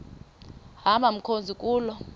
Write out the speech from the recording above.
hamba mkhozi kuloo